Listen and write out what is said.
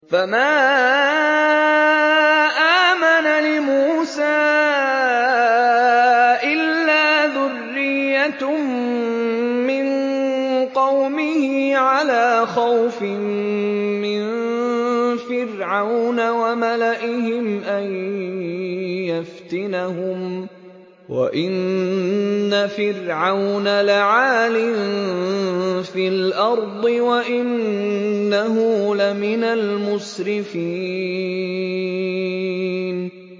فَمَا آمَنَ لِمُوسَىٰ إِلَّا ذُرِّيَّةٌ مِّن قَوْمِهِ عَلَىٰ خَوْفٍ مِّن فِرْعَوْنَ وَمَلَئِهِمْ أَن يَفْتِنَهُمْ ۚ وَإِنَّ فِرْعَوْنَ لَعَالٍ فِي الْأَرْضِ وَإِنَّهُ لَمِنَ الْمُسْرِفِينَ